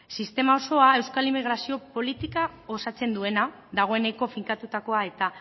sistema osoa euskal immigrazio politika osatzen duena dagoeneko finkatutakoa eta